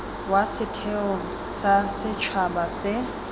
wa setheo sa setšhaba se